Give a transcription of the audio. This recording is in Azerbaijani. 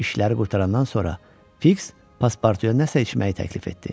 İşləri qurtarandan sonra Fiks Passportuya nəsə içməyi təklif etdi.